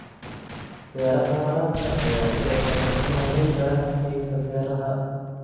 Beeraha waraabka ayaa sidoo kale soo noolayn kara qaybta beeraha.